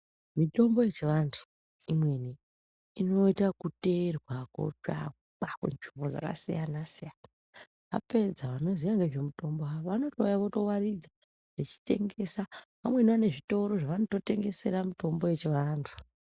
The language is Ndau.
Mitombo yechiandu imweni inoitwa kuterwa kutsvakwa kunzvimbo dzakasiyana-siyana apedza vanoziya ngezvemitombo iyi vanouya kuzowaridza vechitengesa vamweni vane zvitoro zvavanotengesera mitombo yechivantu.